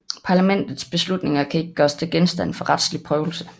Parlamentets beslutninger kan ikke gøres til genstand for retslig prøvelse